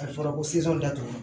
A fɔra ko datugu